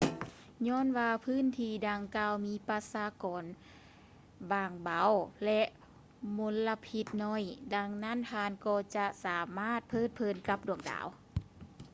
ຍ້ອນວ່າພື້ນທີ່ດັ່ງກ່າວມີປະຊາກອນບາງເບົາ ແລະ ມົນລະພິດໜ້ອຍ ດັ່ງນັ້ນທ່ານກໍຈະສາມາດເພີດເພີນກັບດວງດາວ